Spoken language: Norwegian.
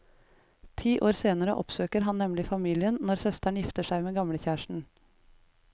Ti år senere oppsøker han nemlig familien når søsteren gifter seg med gamlekjæresten.